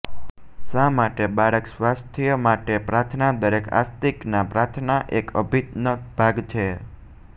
શા માટે બાળક સ્વાસ્થ્ય માટે પ્રાર્થના દરેક આસ્તિક ના પ્રાર્થના એક અભિન્ન ભાગ છે